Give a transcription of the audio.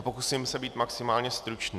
A pokusím se být maximálně stručný.